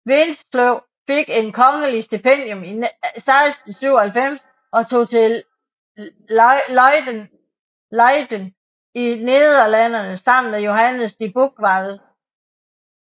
Winsløw fik et kongeligt stipendium i 1697 og tog til Leyden i Nederlandene sammen med Johannes de Buchwald